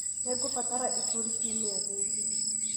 hii ngubatara iburi kiumia giki